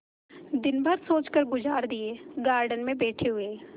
दिन भर सोचकर गुजार दिएगार्डन में बैठे हुए